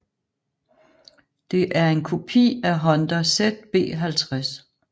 Det er en kopi af Honda ZB50